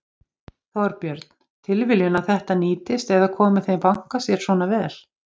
Þorbjörn: Tilviljun að þetta nýtist eða komi þeim banka sér svona vel?